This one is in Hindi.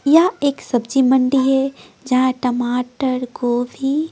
यहां एक सब्जी मंडी है जहां टमाटर गोभी--